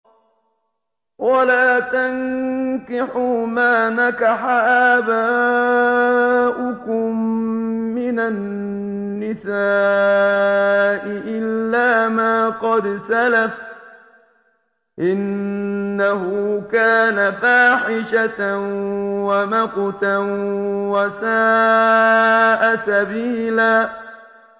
وَلَا تَنكِحُوا مَا نَكَحَ آبَاؤُكُم مِّنَ النِّسَاءِ إِلَّا مَا قَدْ سَلَفَ ۚ إِنَّهُ كَانَ فَاحِشَةً وَمَقْتًا وَسَاءَ سَبِيلًا